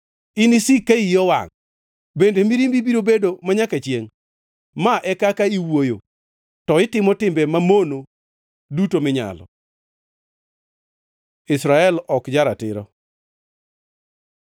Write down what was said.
inisik ka iyi owangʼ? Bende mirimbi biro bedo manyaka chiengʼ? Ma e kaka iwuoyo, to itimo timbe mamono duto minyalo.” Israel ok ja-ratiro